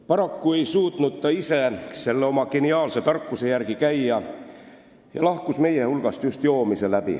Paraku ei suutnud ta ise oma geniaalse tarkuse järgi käia ja lahkus meie hulgast just joomise tõttu.